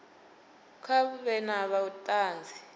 kha vha vhe na vhutanzi